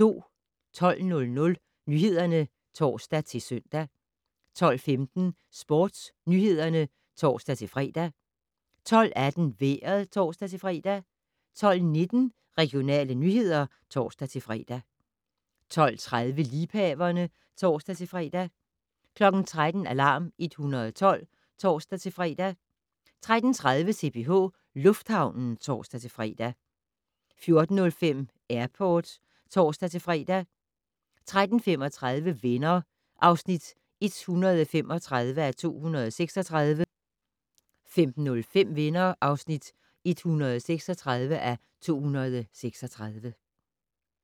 12:00: Nyhederne (tor-søn) 12:15: SportsNyhederne (tor-fre) 12:18: Vejret (tor-fre) 12:19: Regionale nyheder (tor-fre) 12:30: Liebhaverne (tor-fre) 13:00: Alarm 112 (tor-fre) 13:30: CPH Lufthavnen (tor-fre) 14:05: Airport (tor-fre) 14:35: Venner (135:236) 15:05: Venner (136:236)